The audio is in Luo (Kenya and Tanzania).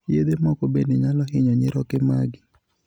Yedhe moko bende nyalo hinyo nyiroke magi.